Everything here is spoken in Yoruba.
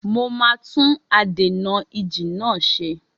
Mo máa tún adènà-ìjì náà ṣe.